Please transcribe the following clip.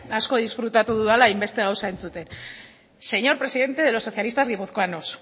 asko disfrutatu dudala hainbeste gauza entzuten señor presidente de los socialistas guipuzcoanos